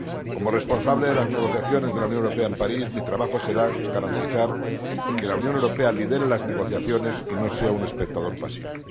Como responsable de las negociaciones de la Unión Europea en París mi trabajo será garantizar que la Unión Europea lidere las negociaciones y no sea un espectador pasivo.